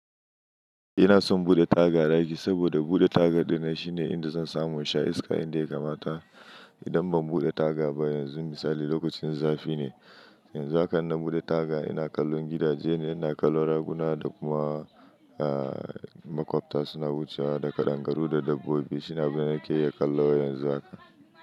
Ina son buɗe taga a rayuwa saboda buɗe taga da na shi ne inda zan samu in sha iska inda ya kamata. Idan ban buɗe taga ba yanzu misali lokacin zafi ne, yanzu haka ina buɗe taga ina kallon gidaje ne, ina kallon raguna da kuma aaa makwabta suna wucewa da ƙadangaru da dabbobi suna binar kiyar kallon yanzu haka.